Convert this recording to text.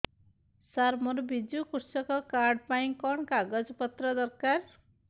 ସାର ମୋର ବିଜୁ କୃଷକ କାର୍ଡ ପାଇଁ କଣ କାଗଜ ପତ୍ର ଦରକାର